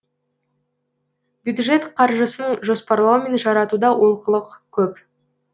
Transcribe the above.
бюджет қаржысын жоспарлау мен жаратуда олқылық көп